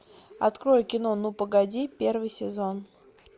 открой кино ну погоди первый сезон